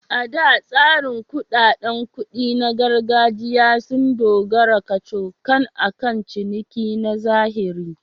A da, tsarin kuɗaɗen kuɗi na gargajiya sun dogara kacokan akan ciniki na zahiri.